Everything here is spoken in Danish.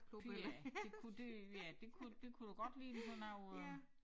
Pyha det kunne det ja det kunne det kunne godt ligne sådan noget øh